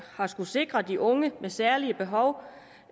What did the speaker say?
har skullet sikre de unge med særlige behov